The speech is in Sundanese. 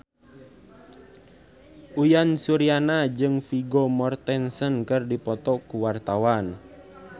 Uyan Suryana jeung Vigo Mortensen keur dipoto ku wartawan